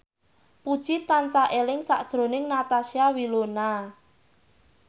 Puji tansah eling sakjroning Natasha Wilona